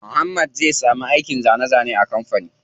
Muhammad zai samu aikin zane zane a kampanin.